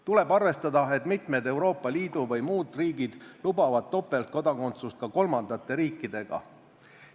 Tuleb arvestada, et mitmed Euroopa Liidu või muud riigid lubavad topeltkodakondsust ka kolmandate riikidega.